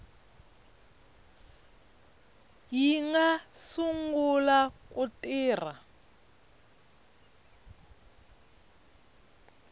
yi nga sungula ku tirha